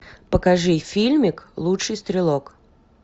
покажи фильмик лучший стрелок